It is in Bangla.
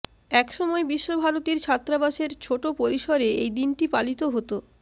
এক সময় বিশ্বভারতীর ছাত্রাবাসের ছোট পরিসরে এই দিনটি পালিত হত